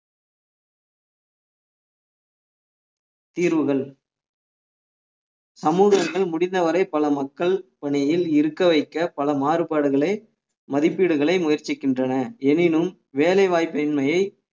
தீர்வுகள் சமூகங்கள் முடிந்தவரை பல மக்கள் பணியில் இருக்க வைக்க பல மாறுபாடுகளை மதிப்பீடுகளை முயற்சிக்கின்றன எனினும் வேலைவாய்ப்பின்மையை